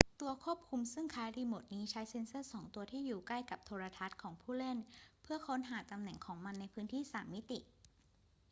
ตัวควบคุมซึ่งคล้ายกับรีโมทนี้ใช้เซ็นเซอร์สองตัวที่อยู่ใกล้กับโทรทัศน์ของผู้เล่นเพื่อค้นหาตำแหน่งของมันในพื้นที่สามมิติ